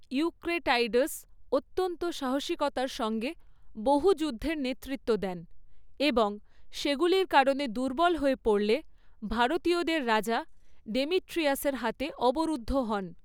Eucratides অত্যন্ত সাহসিকতার সঙ্গে বহু যুদ্ধের নেতৃত্ব দেন, এবং সেগুলির কারণে দুর্বল হয়ে পড়লে, ভারতীয়দের রাজা ডেমিট্রিয়াসের হাতে অবরুদ্ধ হন।